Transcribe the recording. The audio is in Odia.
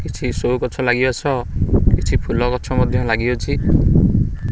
କିଛି ସୋ ଗଛ ଲାଗିବା ସହ କିଛି ଫୁଲ ଗଛ ମଧ୍ୟ ଲାଗିଅଛି।